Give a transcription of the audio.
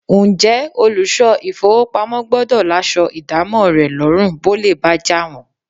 Ǹjẹ́ olùṣọ́ ìfówopamọ́ gbọ́dọ̀ láṣọ ìdámọ̀ rẹ lọ́rùn bólè bá jà wọ́n?